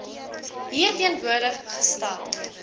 hier teenwoordig gestel